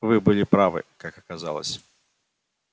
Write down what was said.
вы были правы как оказалось